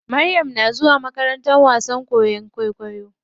Maryam na zuwa makarantar koyan wasan kwaikwayo.